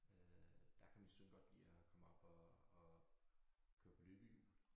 Øh der kan min søn godt lide at komme op og og køre på løbehjul